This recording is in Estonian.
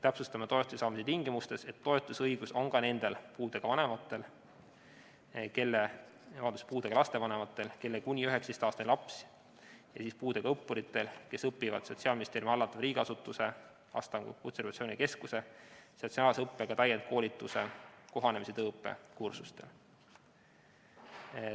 Täpsustame toetuse saamise tingimustes, et toetusõigus on ka nendel puudega laste vanematel, kelle kuni 19-aastane laps õpib, või puudega õppuritel, kes õpivad Sotsiaalministeeriumi hallatava riigiasutuse Astangu Kutserehabilitatsiooni Keskuse sotsiaalse õppega täienduskoolituse kohanemis- ja tööõppekursustel.